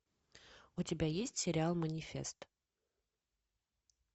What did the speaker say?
у тебя есть сериал манифест